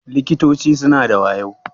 Likitoci suna da wayo.